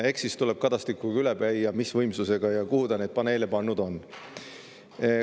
Eks siis tuleb Kadastikuga üle käia, mis võimsusega paneele ja kuhu ta neid pannud on.